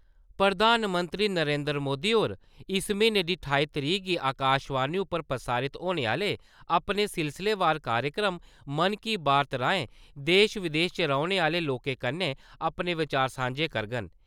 प्रधानमंत्री नरेन्द्र मोदी होर इस महीने दी ठाई तरीक गी आकाशवाणी उप्पर प्रसारत होने आह्‌ले अपने सिलसिलेवार कार्यक्रम 'मन की बात' राहें देश-विदेश च रौह्‌ने आह्‌ले लोकें कन्नै अपने विचार सांझे करङन।